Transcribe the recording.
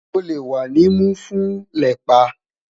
O le wa ni mu fun lepa